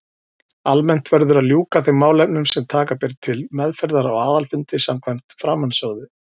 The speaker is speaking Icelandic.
Almennt verður að ljúka þeim málefnum sem taka ber til meðferðar á aðalfundi samkvæmt framansögðu.